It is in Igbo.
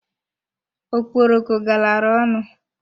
Okporoko galara ọnụ.